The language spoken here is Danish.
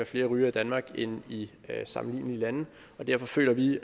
flere rygere i danmark end i sammenlignelige lande og derfor føler vi